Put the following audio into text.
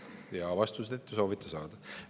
Ja vastuseid te soovite saada.